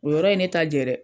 O yɔrɔ ye ne ta jɛ dɛ!